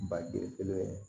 Ba gere kelen